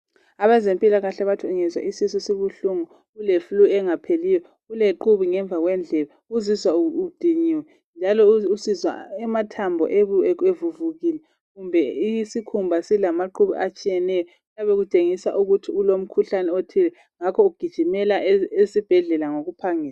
Abezempilakahle bathi ungezwa isisu sibuhlungu, ule flu engapheliyo, uelqhubu ngemva kwendlebe, uzizwa udiniwe njalo usizwa amathambo evuvukile kumbe isikhumbau silamaqhubu atshiyeneyo kuyabe kutshengisa ukuthi kulomkhuhlane othile ngakho gijimela esibhedlela ngokuphangisa